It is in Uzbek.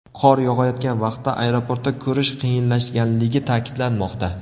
Qor yog‘ayotgan vaqtda aeroportda ko‘rish qiyinlashganligi ta’kidlanmoqda.